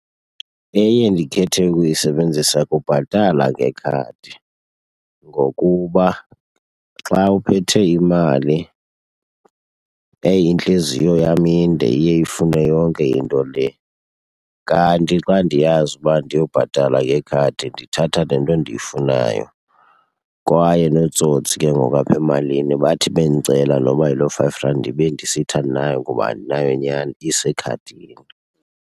Eye ndikhethe ukuyisebenzisa kubhatala ngekhadi. Ngokuba xa uphethe imali eyi intliziyo yam inde iye ifune yonke into le, kanti xa ndiyazi uba ndiyobhatala ngekhadi ndithatha le nto ndiyifunayo. Kwaye nootsotsi ke ngoku apha emalini bathi bendicela noba yiloo five rand ndibe ndisithi andinayo ngoba andinayo nyani isekhadini.